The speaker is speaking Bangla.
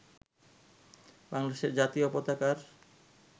বাংলাদেশের জাতীয় পতাকার